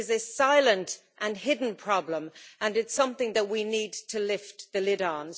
It is a silent and hidden problem and it's something that we need to lift the lid on.